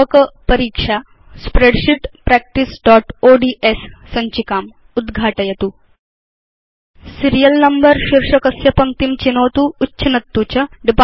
व्यापक परीक्षा स्प्रेडशीट् practiceओड्स् सञ्चिकाम् उद्घाटयतु सीरियल नम्बर शीर्षकस्य पङ्क्तिं चिनोतु उच्छिनत्तु च